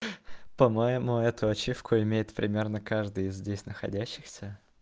по-моему эту ачивку имеет примерно каждый из здесь находящихся